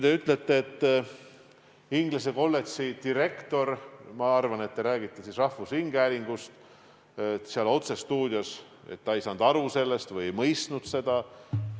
Te ütletesite, et inglise kolledži direktor seal otsestuudios – ma arvan, et te räägite rahvusringhäälingust – ei saanud sellest aru või ei mõistnud seda.